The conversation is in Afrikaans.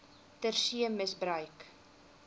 ter see misbruik